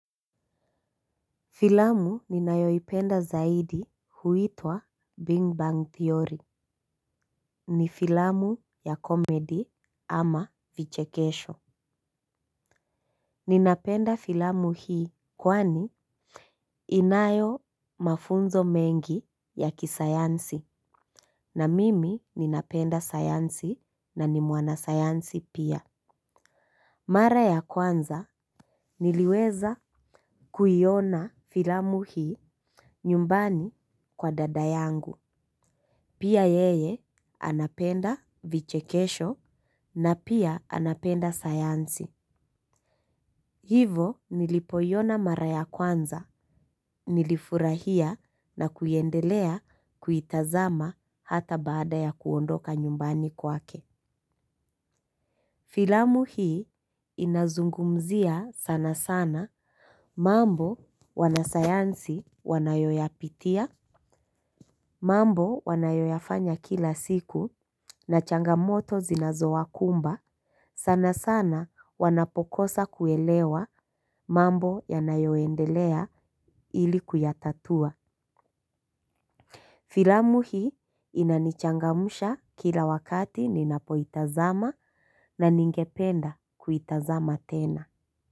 Filamu ninayoipenda zaidi huitwa Bing Bang Theory. Ni filamu ya comedy ama vichekesho. Ninapenda filamu hii kwani inayo mafunzo mengi ya kisayansi na mimi ninapenda sayansi na ni mwana sayansi pia. Mara ya kwanza niliweza kuiona filamu hii nyumbani kwa dada yangu. Pia yeye anapenda vichekesho na pia anapenda sayansi. Hivo nilipoiona mara ya kwanza, nilifurahia na kuiendelea kuitazama hata baada ya kuondoka nyumbani kwake. Filamu hii inazungumzia sana sana mambo wanasayansi wanayoyapitia. Mambo wanayoyafanya kila siku na changamoto zinazowakumba. Sana sana wanapokosa kuelewa mambo yanayoendelea ili kuyatatua. Filamu hii inanichangamsha kila wakati ninapoitazama na ningependa kuitazama tena.